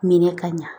Minɛ ka ɲa